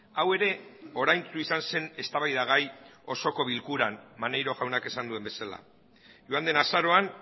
hau ere oraintsu izan zen eztabaidagai osoko bilkuran maneiro jaunak esan duen bezala joan den azaroan